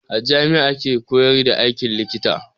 A jami'a ake koyar da aikin likita.